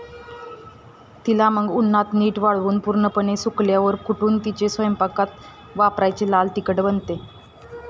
तिला मग उन्हात नीट वाळवून पूर्णपणे सुकल्यावर कुटून तिचे स्वयंपाकात वापरायाचे लाल तिखट बनते